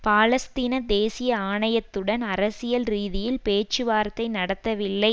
பாலஸ்தீன தேசிய ஆணையத்துடன் அரசியல் ரீதியில் பேச்சுவார்த்தை நடத்தவில்லை